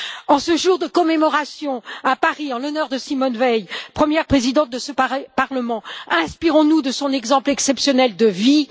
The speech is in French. En ce jour de commémoration, à Paris, en l'honneur de Simone Veil, première Présidente de ce Parlement, inspirons nous de son exemple exceptionnel de vie.